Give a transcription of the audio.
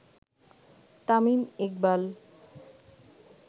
Tamim Iqbal